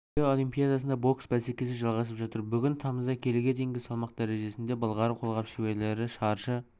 рио олимпиадасында бокс бәсекесі жалғасып жатыр бүгін тамызда келіге дейінгі салмқ дәрежесіндегі былғары қолғап шеберлері шаршы